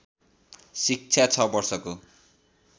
शिक्षा छ वर्षको